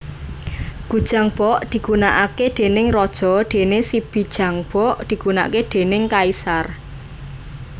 Gujangbok digunakake déning raja dene sibijangbok digunakake déning kaisar